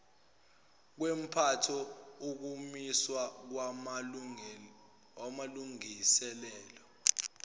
kwempatho ukumiswa kwamalungiselelo